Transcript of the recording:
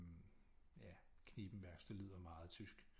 Hm ja Knippenbergs det lyder meget tysk